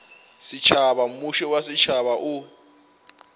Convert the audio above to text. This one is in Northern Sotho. setšhaba mmušo wa setšhaba o